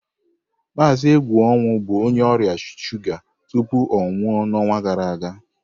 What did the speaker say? Mazị Egwuonwu bụ onye ọrịa shuga tupu ọ nwụọ n'ọnwa gara aga.